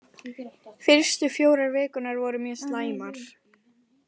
Fyrstu fjórar vikurnar voru mjög slæmar.